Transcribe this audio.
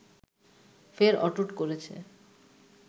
ফের অটুট করেছে